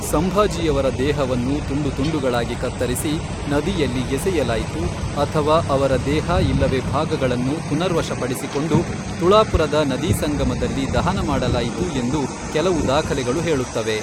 ಸಂಭಾಜಿಯವರ ದೇಹವನ್ನು ತುಂಡುತುಂಡುಗಳಾಗಿ ಕತ್ತರಿಸಿ ನದಿಯಲ್ಲಿ ಎಸೆಯಲಾಯಿತು ಅಥವಾ ಅವರ ದೇಹ ಇಲ್ಲವೇ ಭಾಗಗಳನ್ನು ಪುನರ್ವಶಪಡಿಸಿಕೊಂಡು ತುಳಾಪುರದ ನದೀ ಸಂಗಮದಲ್ಲಿ ದಹನ ಮಾಡಲಾಯಿತು ಎಂದು ಕೆಲವು ದಾಖಲೆಗಳು ಹೇಳುತ್ತವೆ.